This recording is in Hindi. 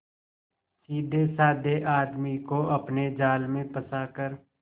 सीधेसाधे आदमी को अपने जाल में फंसा कर